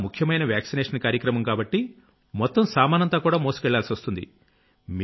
ముఖ్యమైన వాక్సినేషన్ కార్యక్రమం కాబట్టి మొత్తం సామానంతా కూడా మోసుకెళ్లాల్సొస్తుంది